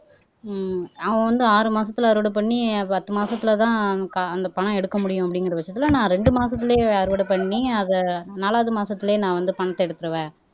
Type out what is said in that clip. ஹம் அவன் வந்து ஆறு மாசத்துல அறுவடை பண்ணி பத்து மாசத்துலதான் க அந்த பணம் எடுக்க முடியும் அப்படிங்கிற பட்சத்துல நான் ரெண்டு மாசத்துலயே அறுவடை பண்ணி அதை நாலாவது மாசத்துலயே நான் வந்து பணத்தை எடுத்துருவேன்